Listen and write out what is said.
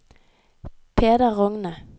Peder Rogne